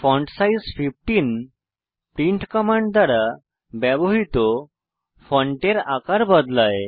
font size 15 print command দ্বারা ব্যবহৃত ফন্টের আকার বদলায়